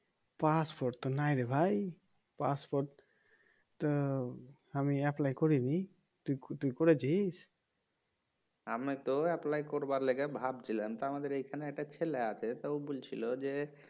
Passport তো না রে ভাই পাসপোর্ট আমি apply করি নি তুই করেছিস? আমি তো apply করবার লিগে ভাবছিলাম তা আমাদের এখানে একটা ছেলে আছে তা ও বলছিল যে"